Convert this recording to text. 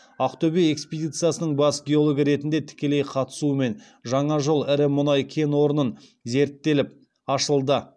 ақтөбе экспедициясының бас геологы ретінде тікелей қатысуымен жаңа жол ірі мұнай кен орнын зерттеліп ашылды